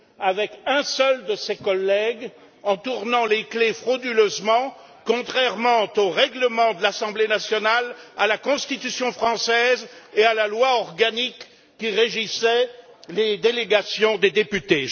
avec un seul de ses collègues, en tournant les clefs frauduleusement, contrairement au règlement de l'Assemblée nationale, à la Constitution française et à la loi organique qui régissait les délégations des députés.